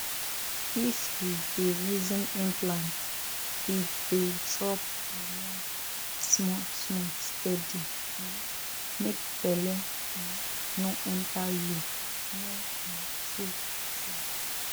if you dey reason implant e dey drop hormone small small steady um make belle um no enter you know na true true